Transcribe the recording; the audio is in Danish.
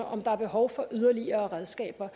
om der er behov for yderligere redskaber